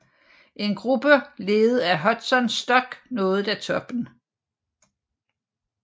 En gruppe ledet af Hudson Stuck nåede da toppen